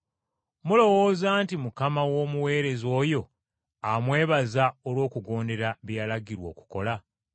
Mulowooza nti Mukama w’omuweereza oyo amwebaza olw’okugondera bye yalagirwa okukola?